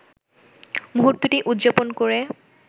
মুহূর্তটি উদযাপন করে